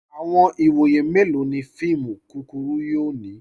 Awọn iwọye melọ ni fíìmù kúkúrù yóò ni?